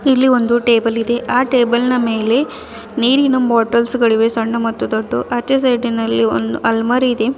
ಇಲ್ಲಿ ಒಂದು ಟೇಬಲ್ ಇದೆ ಆ ಟೇಬಲ್ ನ ಮೇಲೆ ನೀರಿನ ಬಾಟಲ್ಸ್ ಗಳಿವೆ ಸಣ್ಣ ಮತ್ತು ದೊಡ್ಡ ಆಚೆ ಸೈಡಿನಲ್ಲಿ ಒಂದ್ ಹಲ್ಮರಿ ಇದೆ.